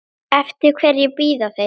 Eftir hverju bíða þeir?